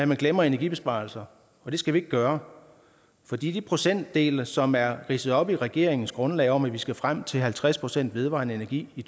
man glemmer energibesparelser og det skal vi ikke gøre for de procentdele som er ridset op i regeringens grundlag om at vi skal frem til halvtreds procent vedvarende energi i